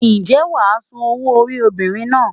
Ǹjẹ́ wàá San owó orí obìnrin náà?